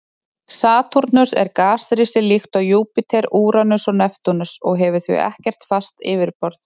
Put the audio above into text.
Satúrnus er gasrisi líkt og Júpíter, Úranus og Neptúnus og hefur því ekkert fast yfirborð.